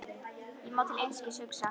Ég má til einskis hugsa.